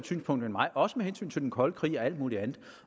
synspunkt end mig også med hensyn til den kolde krig og alt muligt andet